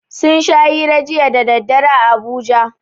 Sun sha hira jiya da daddare a Abuja.